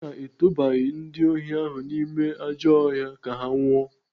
Ọ bụ na a tụbaghị ndị ohi ahụ n'ime ajọ ọhịa ka ha nwụọ?